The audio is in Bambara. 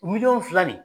Miliyɔn fila ni